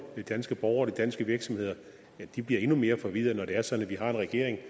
de danske borgere og de danske virksomheder bliver endnu mere forvirret når det er sådan at vi har en regering